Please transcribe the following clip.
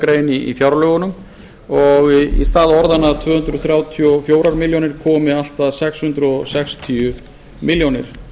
grein í fjárlögunum í stað tvö hundruð þrjátíu og fjórar milljónir komi allt að sex hundruð sextíu milljónir